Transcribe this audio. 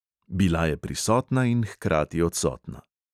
Bila je prisotna in hkrati odsotna.